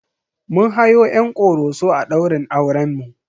Mun hayo 'yan Ƙoroso a ɗaurin aurenmu.